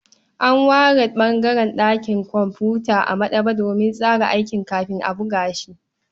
An ware ɓangaren ɗakin kumfuta a maɗaba'a domin tsara aiki kafin a buga shi.